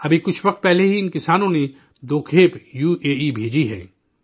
ابھی کچھ دنوں پہلے ہی ان کسانوں نے دو کھیپ یو اے ای بھیجی ہے